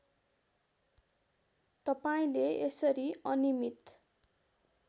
तपाईँले यसरी अनिमित